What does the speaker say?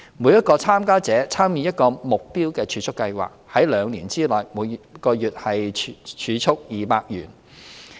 每名參加者會參與一個目標儲蓄計劃，在兩年內每月儲蓄200元。